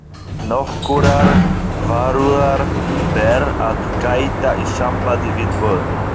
Nokkurrar varúðar ber að gæta í sambandi við böð